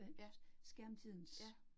Ja. Ja